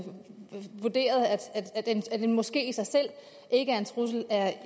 vurderet at en moské i sig selv ikke er en trussel at